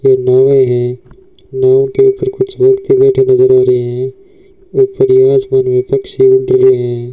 ये नावे है नाव के उपर कुछ व्यक्ती बैठे नजर आ रहे हैं है।